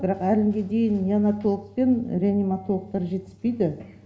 бірақ әлі күнге дейін неанотолог пен реаниматологтар жетіспейді